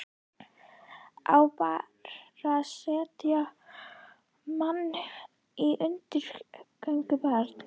Á bara að setja mann í útgöngubann?